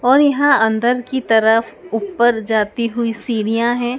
और यहां अंदर की तरफ ऊपर जाती हुई सीढ़ियां है।